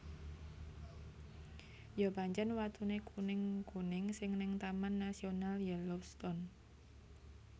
Yo pancen watune kuning kuning sing ning Taman Nasional Yellowstone